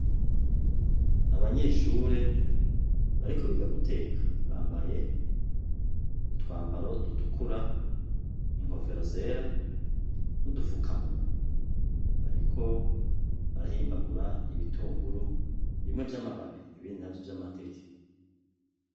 Abanyeshure bariko biga guteka bambaye utwambaro dutukura, inkofero zera n'udufukamunwa. Bariko barahimbagura ibitunguru, bimwe vy'amababi ibindi navyo vy'amateke.